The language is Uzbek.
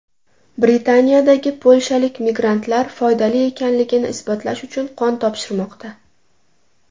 Britaniyadagi polshalik migrantlar foydali ekanligini isbotlash uchun qon topshirmoqda.